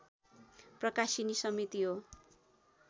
प्रकाशिनी समिति हो